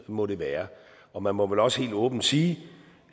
må det være og man må vel også helt åbent sige